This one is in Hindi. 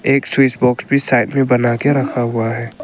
एक स्विच बॉक्स भी बनाके साइड में रखा हुआ है।